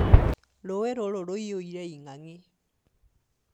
Rũĩ rũrũ rũiyũire ing'ang'i